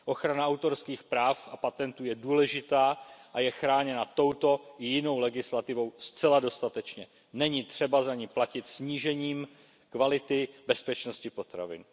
Ochrana autorských práv a patentů je důležitá a je chráněna touto i jinou legislativou zcela dostatečně, není třeba za ni platit snížením kvality bezpečnosti potravin.